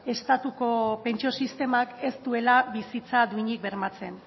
estatuko pentsio sistemak ez duela bizitza duinik bermatzen